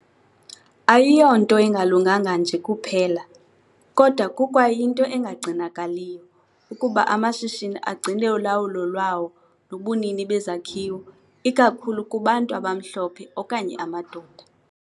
Ayiyonto engalunganga nje kuphela, kodwa kukwayinto engagcinakaliyo, ukuba amashishini agcine ulawulo lwawo nobunini bezakhiwo ikakhulu kubantu abamhlophe okanye amadoda.